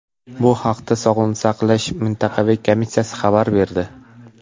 Bu haqda Sog‘liqni saqlash mintaqaviy komissiyasi xabar berdi .